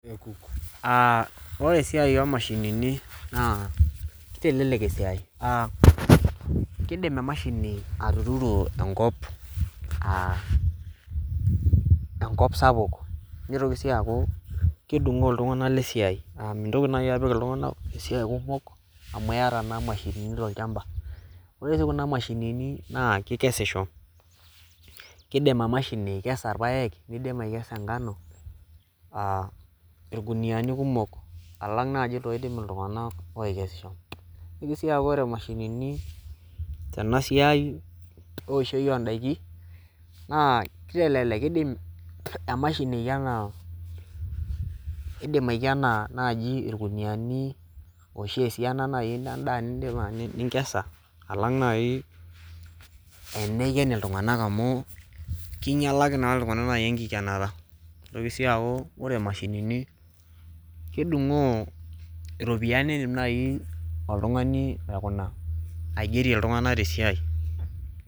Aa ore esiai omashinini naa kitelelek esiai, aa kidim emashini atuturo enkop a enkop sapuk ,nitoki sii aaku kedungo iltunganak lesiai. Aa mintoki nai apik iltunganak lesiai kumok amu iyata naa imashini tolchamba . Ore sii kuna ,mashinini naa kikesisho , kidim emashini aikesa irpaek , nidima aikesa enkano aa irkuniani kumok alang naji iloidim iltunganak oikesisho. Nitoki sii aku ore emashinini tena siai oshio ondaikin naa kitelelek , kidim emashini aikena, aikena , kidim aikena naji irkuniani oshi esiana endaa naji ninkesa alang nai teniken iltunganak amu kinyialaki naji itunganak naji enkikenata . Nitoki sii aku ore imashinini kedungoo iropiyiani nindim naji oltungani aikuna, aigerie iltunganak tesiai.